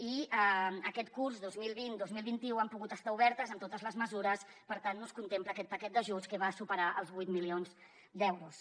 i aquest curs dos mil vint dos mil vint u han pogut estar obertes amb totes les mesures per tant no es contempla aquest paquet d’ajuts que va superar els vuit milions d’euros